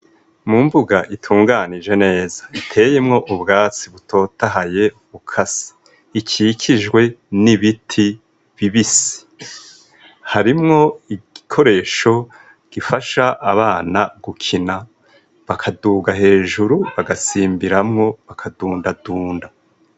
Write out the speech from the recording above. Mu mbuga itunganije neza iteyemwo ubwatsi butotahaye ukasi ikikijwe n'ibiti bibise harimwo igikoresho gifasha abana gukina bakaduga hejuru bagasimbiramwo bakadundadunda.